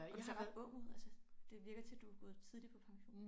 Og du ser ret ung ud altså det virker til du gået tidligt på pension